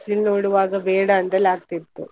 ಬಿಸಿಲು ನೋಡುವಾಗ ಬೇಡ ಅಂತಾಲೆ ಆಗ್ತಿತ್ತು.